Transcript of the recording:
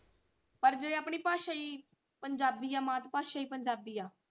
ਪਰ ਜੇ ਆਪਣੀ ਭਾਸ਼ਾ ਹੀ ਪੰਜਾਬੀ ਆ ਮਾਤਾ ਭਾਸ਼ਾ ਹੀ ਪੰਜਾਬੀ ਆ।